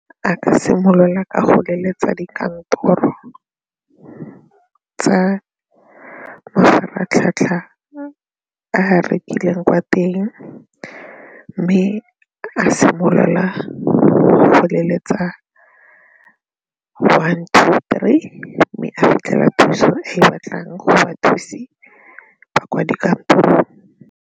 A ka simolola ka go leletsa dikantoro tsa mafaratlhatlha a a rekileng kwa teng mme a simolola go leletsa one two three mme a fitlhela thuso e batlang gore bathusi ba kwa dikantorong.